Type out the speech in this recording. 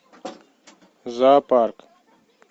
зоопарк